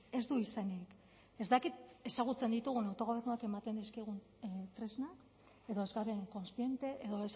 ez du izenik ez dakit ezagutzen ditugun autogobernuak ematen dizkigun tresnak edo ez garen kontziente edo